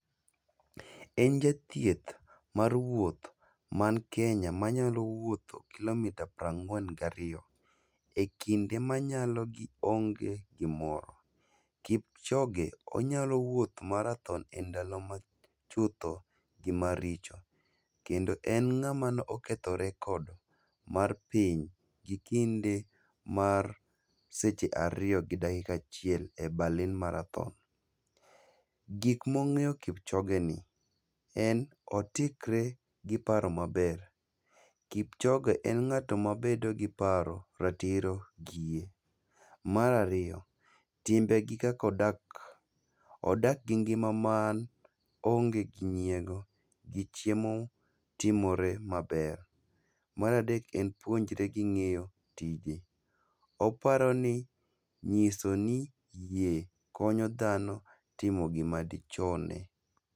En jathieth mar wuoth man Kenya manyalo wuotho kilomita prang'wen gariyo, e kinde manyalogi onge gimor, Kipchoge onyalo wuoth marathon e ndalo ma chutho gi maricho. Kendo en ng'ama ne oketho rekod mar piny gi kinde mar seche ariyo gi dakika achiel e Berlin marathon. Gik mong'e yo Kipchoge ni, en otikre gi paro maber. Kipchoge en ng'at mabedo gi paro, ratiro, gi yie. Marariyo, timbegi kakodak, odak gi ngima man onge gi nyiego gi chiemo timore maber. Maradek en puonjre gi ng'iyo tije, oparo ni nyiso ni yie konyo dhano timo gima dichune.